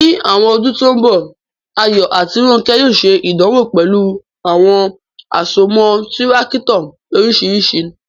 Ní àwọn ọdún tó ń bọ̀, Ayọ̀ àti Rónkẹ́ yóò ṣe ìdánwò pẹ̀lú àwọn àsomọ́ Tírákítọ̀ oríṣiríṣi.